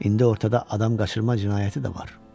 İndi ortada adam qaçırma cinayəti də var.